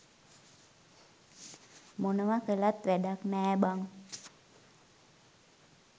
මොනව කලත් වැඩක් නෑ බං.